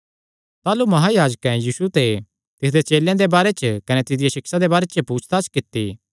ताह़लू महायाजकैं यीशु ते तिसदे चेलेयां दे बारे च कने तिसदिया सिक्षा दे बारे च पुछताछ कित्ती